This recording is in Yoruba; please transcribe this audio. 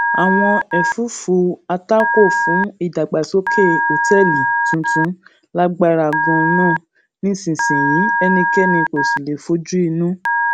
àwọn èfúùfù àtakò fún ìdàgbàsókè òtéèlì tuntun lágbára ganan nísinsìnyí ẹnikéni kò sì lè fojú inú